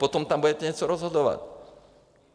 Potom tam budete něco rozhodovat.